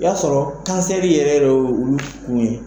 O b'a sɔrɔ kansɛri yɛrɛ y'olu tunu